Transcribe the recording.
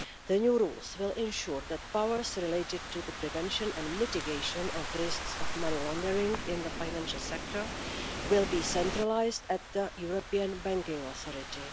The new rules will ensure that powers related to the prevention and mitigation of risks of money laundering in the financial sector will be centralised at the European Banking Authority.